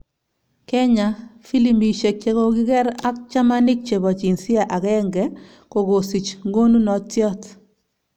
Kenya:filimbishek chekokinger ak chamanik chepo jinsia agenge kokosich ngonunotiat